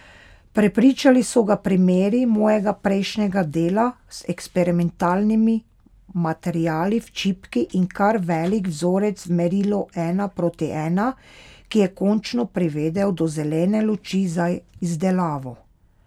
Prepričali so ga primeri mojega prejšnjega dela z eksperimentalnimi materiali v čipki in kar velik vzorec v merilu ena proti ena, ki je končno privedel do zelene luči za izdelavo.